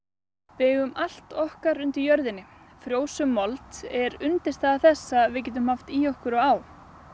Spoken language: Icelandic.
við eigum allt okkar undir jörðinni frjósöm mold er undirstaða þess að við getum haft í okkur og á